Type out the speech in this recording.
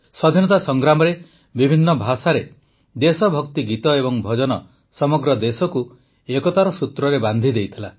ସ୍ୱାଧୀନତା ସଂଗ୍ରାମରେ ବିଭିନ୍ନ ଭାଷାରେ ଦେଶଭକ୍ତି ଗୀତ ଏବଂ ଭଜନ ସମଗ୍ର ଦେଶକୁ ଏକତାର ସୂତ୍ରରେ ବାନ୍ଧି ଦେଇଥିଲା